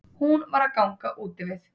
Hún var að ganga úti við.